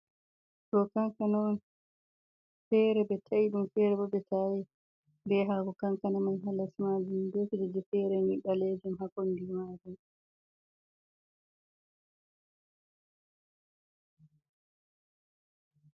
Ɗo kanka on, fere ɓe tai ɗum, fere bo ɓe ta'ai ɓe hako kankana man ha les majum be kujeji fere ni balejum ha kombi majum.